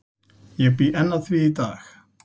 Ég bý enn að því í dag.